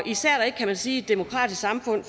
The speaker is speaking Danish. især ikke kan man sige i et demokratisk samfund